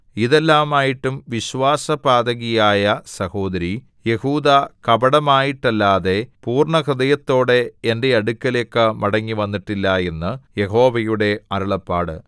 ഇതെല്ലാമായിട്ടും വിശ്വാസപാതകിയായ സഹോദരി യെഹൂദാ കപടമായിട്ടല്ലാതെ പൂർണ്ണഹൃദയത്തോടെ എന്റെ അടുക്കലേക്ക് മടങ്ങിവന്നിട്ടില്ല എന്ന് യഹോവയുടെ അരുളപ്പാട്